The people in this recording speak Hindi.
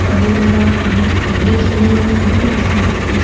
पानी बेह रहा है पानी के ऊपर ब्रिज बनी हुए है उसमें कुछ पीछे --